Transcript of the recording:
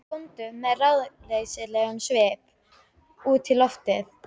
Góndu með ráðleysislegum svip út í loftið.